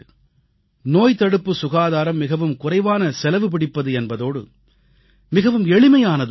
நோய்தடுப்பு சுகாதாரம் மிகவும் குறைவான செலவு பிடிப்பது என்பதோடு மிகவும் எளிமையானதும் கூட